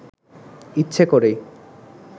ইচ্ছে করেই